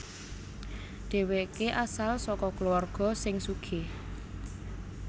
Dhèwèké asal saka kulawarga sing sugih